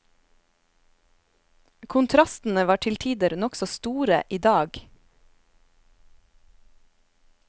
Kontrastene var til tider nokså store idag.